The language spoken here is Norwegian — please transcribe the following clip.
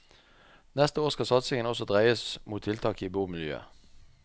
Neste år skal satsingen også dreies mot tiltak i bomiljøet.